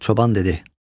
Çoban dedi: